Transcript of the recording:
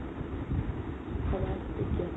সমাজ বিজ্ঞান